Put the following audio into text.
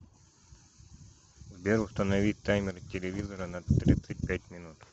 сбер установи таймер телевизора на тридцать пять минут